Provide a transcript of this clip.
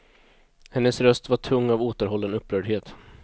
Hennes röst var tung av återhållen upprördhet.